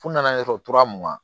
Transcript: Fu nana ɲɛ sɔrɔ tora mugan